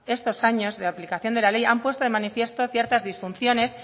estos años de aplicación de la ley han puesto en manifiesto ciertas disfunciones